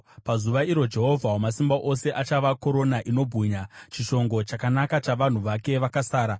Pazuva iro Jehovha Wamasimba Ose achava korona inobwinya, chishongo chakanaka chavanhu vake vakasara.